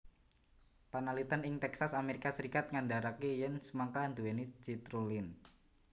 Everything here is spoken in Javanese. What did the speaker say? Panalitén ing Texas Amerika Serikat ngandaraké yèn semangka nduwèni citrulline